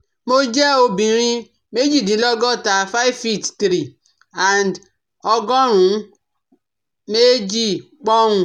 Mo jẹ́ obìnrin méjìdínlọ́gọ́ta five feet three and ọgọ́rùn-ún méjì poun